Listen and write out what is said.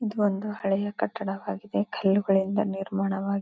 ಇದು ಒಂದು ಹಳೆಯ ಕಟ್ಟಡವಾಗಿದೆ ಕಲ್ಲುಗಳಿಂದ ನಿರ್ಮಾಣ ವಾಗಿದೆ.